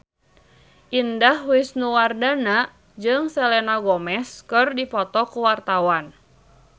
Indah Wisnuwardana jeung Selena Gomez keur dipoto ku wartawan